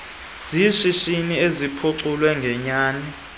zeshishini eziphuculwe ngenyani